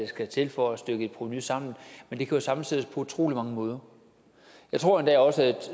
skal til for at stykke et provenu sammen men det kan jo sammensættes på utrolig mange måder jeg tror endda også at